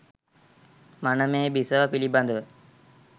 මනමේ බිසව පිළිබඳ